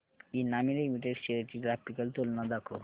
Emami limited shares ची graphical तुलना दाखव